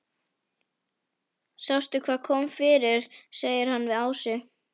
Sástu hvað kom fyrir? segir hann við Ásu.